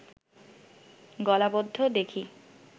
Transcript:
গলাবদ্ধ দেখি